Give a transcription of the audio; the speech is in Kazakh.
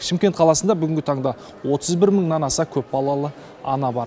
шымкент қаласында бүгінгі таңда отыз бір мыңнан аса көпбалалы ана бар